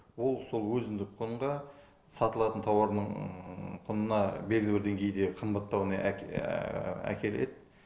ол сол өзіндік құнға сатылатын тауарының құнына белгілі бір деңгейде қымбаттауына әкеледі